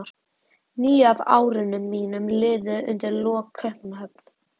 Níu af árunum mínum liðu undir lok í Kaupmannahöfn.